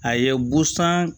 A ye busan